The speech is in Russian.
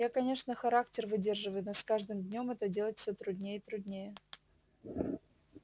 я конечно характер выдерживаю но с каждым днём это делать все труднее и труднее